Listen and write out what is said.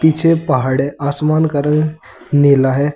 पीछे पहाड़ है आसमान का रंग नीला है।